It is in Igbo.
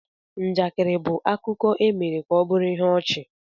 Njakịrị bụ akụkọ e mere ka ọ bụrụ ihe ọchị.